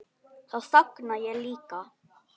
Þá þagna ég líka.